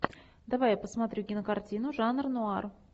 давай я посмотрю кинокартину жанр нуар